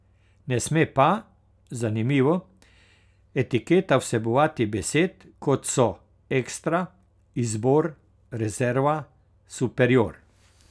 Ne sme pa, zanimivo, etiketa vsebovati besed, kot so ekstra, izbor, rezerva, superior.